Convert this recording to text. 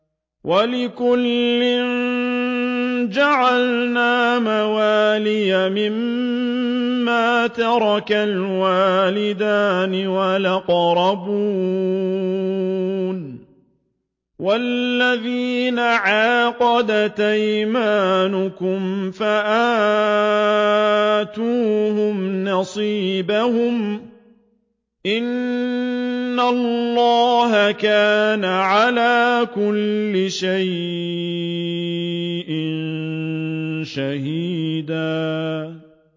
وَلِكُلٍّ جَعَلْنَا مَوَالِيَ مِمَّا تَرَكَ الْوَالِدَانِ وَالْأَقْرَبُونَ ۚ وَالَّذِينَ عَقَدَتْ أَيْمَانُكُمْ فَآتُوهُمْ نَصِيبَهُمْ ۚ إِنَّ اللَّهَ كَانَ عَلَىٰ كُلِّ شَيْءٍ شَهِيدًا